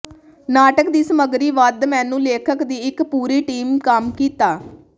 ਨਾਟਕ ਦੀ ਸਮੱਗਰੀ ਵੱਧ ਮੈਨੂੰ ਲੇਖਕ ਦੀ ਇੱਕ ਪੂਰੀ ਟੀਮ ਕੰਮ ਕੀਤਾ